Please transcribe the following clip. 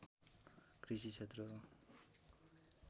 कृषि क्षेत्र हो